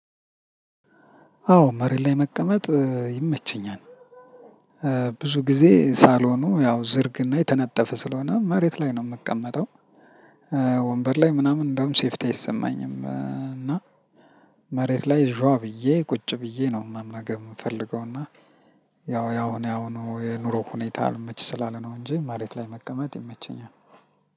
አዎ መሬት ላይ መቀመጥ ይመቸኛል። ብዙ ጊዜ ሳልሆኑ ያው ዝርግና የተነጠፈ ስለሆነ መሬት ላይ ነው የምቀመጠው። ወንበር ለይ ምነም ሴፍቲ አይሰመኝምና። መሬት ላይ ዥዋ ብዬ ቁጭ ብዬ ነው መመገብ ምፈልገው እና። ያው ያው አሁን የኑሮ ሁኔታ አልመች ስላለ ነው እንጂ መሬት ላይ መቀመጥ ይመቸኛል።